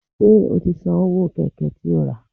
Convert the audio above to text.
Ṣé o ti san owó Kẹ̀kẹ́ tí ó rà?